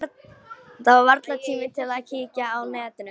Það er varla tími til að kíkja á netið.